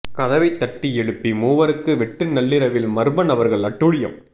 கதவை தட்டி எழுப்பி மூவருக்கு வெட்டு நள்ளிரவில் மர்ம நபர்கள் அட்டூழியம்